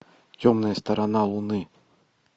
темная сторона луны